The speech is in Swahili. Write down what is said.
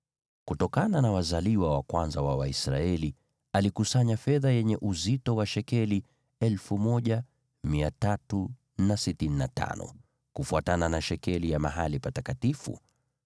Kutokana na wazaliwa wa kwanza wa Waisraeli alikusanya fedha yenye uzito wa shekeli 1,365 kufuatana na shekeli ya mahali patakatifu.